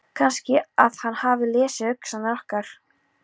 Kannski að hann hafi lesið hugsanir okkar.